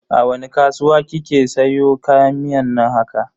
A wani kasuwa kika siyo kayan miyan nan haka?